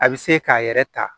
A bɛ se k'a yɛrɛ ta